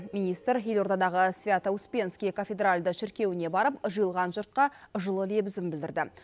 министр елордадағы свято успенский кафедральды шіркеуіне барып жиылған жұртқа жылы лебізін білдірді